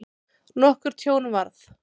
Nokkurt tjón varð.